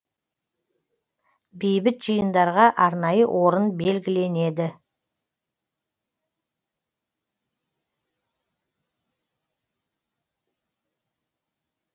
бейбіт жиындарға арнайы орын белгіленеді